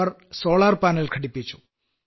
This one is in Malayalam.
our solar panel ഘടിപ്പിച്ചു